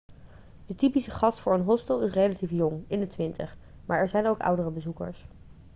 de typische gast voor een hostel is relatief jong in de twintig maar er zijn ook oudere bezoekers